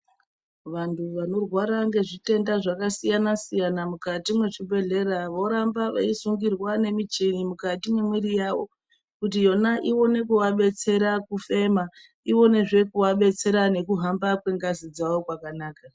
Vantu vanorwara ngezvitenda zvakasiyana siyana mukati mwezvibhedhlera voramba veisungirwa nemichini mukati mwemwiiri yavo kuti yona iwone kuvadetsera kufema iwonezve kuvadetsera nekuhamba kwengazi dzavo kwakanaka.